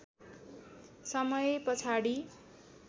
समय पछाडि